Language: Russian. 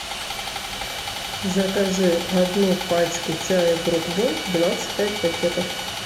закажи одну пачку чая брук бонд двадцать пять пакетов